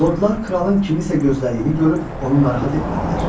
Lordlar kralın kimisə gözlədiyini görüb onu narahat etmədilər.